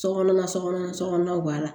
Sokɔnɔ na sokɔnɔ sokɔnɔw b'a la